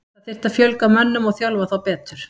Það þyrfti að fjölga mönnum og þjálfa þá betur.